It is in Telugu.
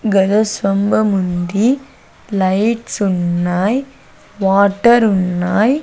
గజస్థంభముంది లైట్స్ ఉన్నాయ్ వాటర్ ఉన్నాయ్.